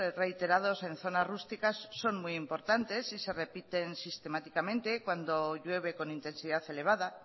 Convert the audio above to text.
reiterados en zonas rusticas son muy importantes y se repiten sistemáticamente cuando llueve con intensidad elevada